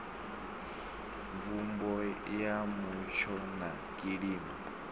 mvumbo ya mutsho na kilima